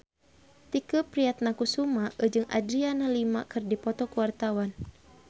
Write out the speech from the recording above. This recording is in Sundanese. Tike Priatnakusuma jeung Adriana Lima keur dipoto ku wartawan